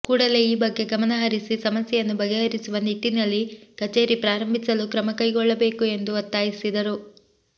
ಕೂಡಲೇ ಈ ಬಗ್ಗೆ ಗಮನ ಹರಿಸಿ ಸಮಸ್ಯೆಯನ್ನು ಬಗೆಹರಿಸುವ ನಿಟ್ಟಿನಲ್ಲಿ ಕಚೇರಿ ಪ್ರಾರಂಭಿಸಲು ಕ್ರಮ ಕೈಗೊಳ್ಳಬೇಕು ಎಂದು ಒತ್ತಾಯಿಸಿದರು